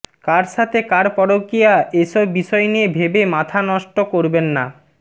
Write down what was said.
কার সাথে কার পরকীয়া এসব বিষয় নিয়ে ভেবে মাথা নষ্ট করবেন না